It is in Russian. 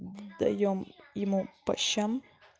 даём ему по щам